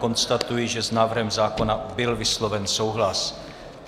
Konstatuji, že s návrhem zákona byl vysloven souhlas.